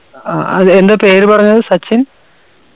അ അത് എന്താ പേര് പറഞ്ഞത് സച്ചിൻ